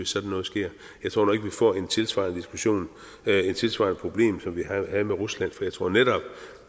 sådan noget sker jeg tror nu ikke vi får en tilsvarende diskussion af et tilsvarende problem som vi havde med rusland for jeg tror netop